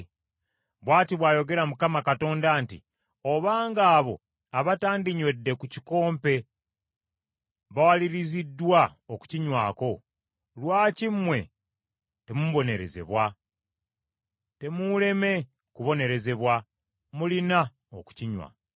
Bw’ati bw’ayogera Mukama Katonda nti, “Obanga abo abatandinywedde ku kikompe bawaliriziddwa okukinywako, lwaki mmwe temubonerezebwa? Temuuleme kubonerezebwa, mulina okukinywa.